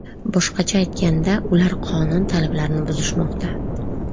Boshqacha aytganda, ular qonun talablarini buzishmoqda.